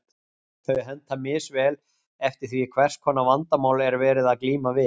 Þau henta misvel eftir því hvers konar vandamál er verið að glíma við.